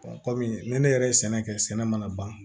kɔmi ni ne yɛrɛ ye sɛnɛ kɛ sɛnɛ mana ban